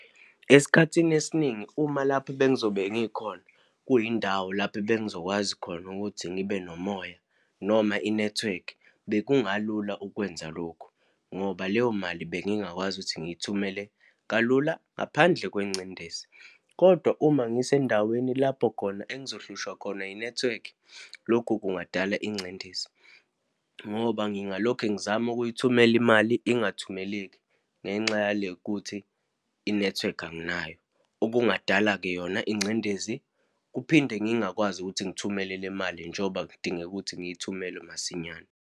Esikhathini esiningi uma lapho bengizobe ngikhona, kuyindawo lapho bengizokwazi khona ukuthi ngibe nomoya, noma inethiwekhi, bekungalula ukwenza lokhu, ngoba leyo mali bengingakwazi ukuthi ngiyithumele kalula ngaphandle kwengcindezi. Kodwa uma ngisendaweni lapho khona engizohlushwa khona inethiwekhi, lokhu kungadala ingcindezi, ngoba ngingalokhe ngizama ukuyithumela imali ingathumeleki, ngenxa yalekuthi inethiwekhi anginayo, okungadala-ke yona ingcindezi. Kuphinde, ngingakwazi ukuthi ngithumele le mali njengoba kudingeka ukuthi ngiyithumele masinyane.